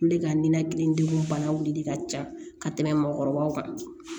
Olu de ka nɛnɛkili degun bana wulili ka ca ka tɛmɛ mɔgɔkɔrɔbaw kan